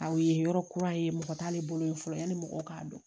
Aw ye yɔrɔ kura ye mɔgɔ t'ale bolo yen fɔlɔ yanni mɔgɔw k'a dɔn